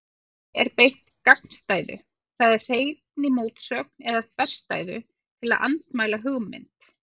Í kímni er beitt gagnstæðu, það er hreinni mótsögn eða þverstæðu, til að andmæla hugmynd.